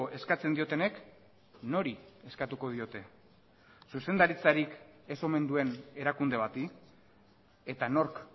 eskatzen diotenek nori eskatuko diote zuzendaritzarik ez omen duen erakunde bati eta nork